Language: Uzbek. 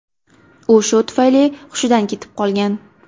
U shu tufayli hushidan ketib qolgan .